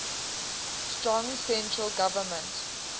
strong central government